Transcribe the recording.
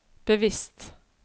bevisst